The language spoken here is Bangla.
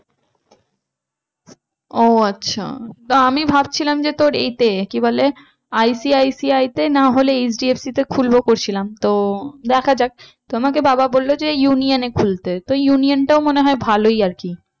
ও আচ্ছা তো আমি ভাবছিলাম তোর এতে কি বলে ICICI তে না হলে HDFC তে খুলবো করছিলাম তো দেখা যাক। তো আমাকে বাবা বললো যে union এ খুলতে তো union টাও মনে হয় ভালোই আর কি